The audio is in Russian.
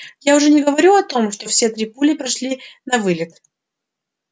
я уже не говорю о том что все три пули прошли навылет